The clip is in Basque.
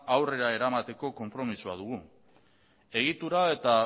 aurrera eramateko konpromezua dugu egitura eta